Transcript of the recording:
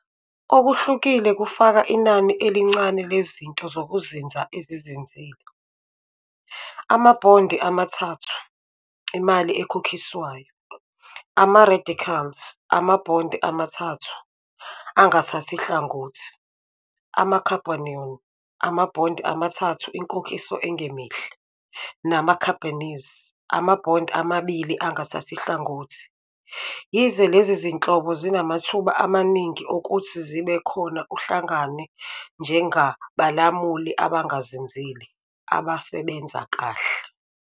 Okuhlukile kufaka inani elincane lezinto zokuzinza ezizinzile, amabhondi amathathu, imali ekhokhiswayo, ama-radicals, ama-bond amathathu, angathathi hlangothi, ama-carbonion, amabhondi amathathu, inkokhiso engemihle, nama-carbenes, ama-bond amabili, angathathi hlangothi, yize lezi zinhlobo zinamathuba amaningi okuthi zibe khona uhlangane njengabalamuli abangazinzile, abasebenza kahle.